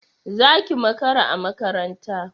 Zaki makara a makaranta